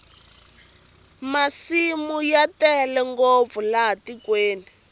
masimu ya tele ngopfu laha tikweni